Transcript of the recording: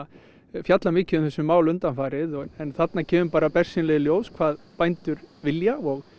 fjalla mikið um þessi mál undanfarið en þarna kemur bersýnilega í ljós hvað bændur vilja og